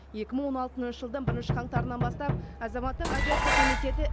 екі мың он алтыншы жылдың бірінші қаңтарынан бастап азаматтық авиация комитеті